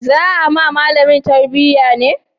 Za a ma malamin tambaya ne?